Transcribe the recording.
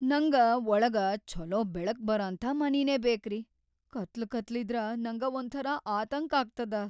ನಂಗ ವಳಗ ಛೊಲೋ ಬೆಳಕ್‌ ಬರಅಂಥಾ ಮನಿನೇ ಬೇಕ್ರಿ; ಕತ್ಲಕತ್ಲಿದ್ರ ನಂಗ ಒಂಥರಾ ಆತಂಕ್ ಆಗ್ತದ.